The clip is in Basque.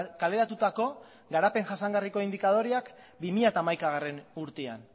kaleratutako garapen jasangarriko indikadoreak bi mila hamaikagarrena urtean